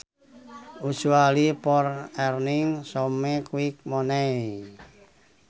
Usually for earning some quick money